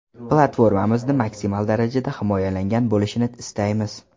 Platformamizni maksimal darajada himoyalangan bo‘lishini istaymiz.